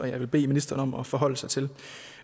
jeg vil bede ministeren om at forholde sig til